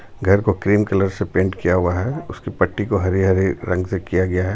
घर को cream colour से पेंट किया हुआ है उसकी पट्टी को हरे हरे रंग से किया गया है.